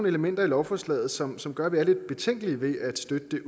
elementer i lovforslaget som som gør at vi umiddelbart er lidt betænkelige ved at støtte det